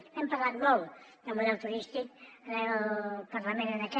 n’hem parlat molt de model turístic al parlament en aquest